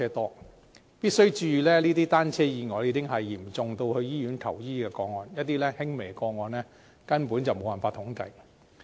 大家必須注意，這些單車意外已經是嚴重至到醫院求醫的個案，一些輕微個案根本無法統計。